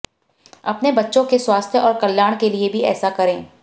अपने बच्चों के स्वास्थ्य और कल्याण के लिए भी ऐसा करें